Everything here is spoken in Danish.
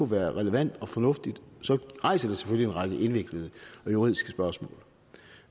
være relevant og fornuftigt så rejser det selvfølgelig en række indviklede og juridiske spørgsmål